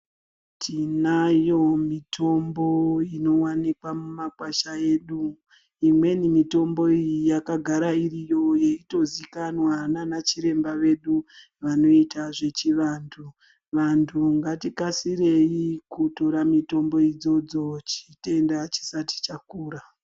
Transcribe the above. Tinayo mitombo inowanikwa mumakwasha edu imweni mitombo iyi yakagara iriyo yeitozikanwa nana chiremba vedu vanoita zvechivanthu, vanthu ngatikasirei kutora mitombo idzodzo chitenda chisati chakura.